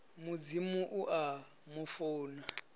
mudzimu u a mu funa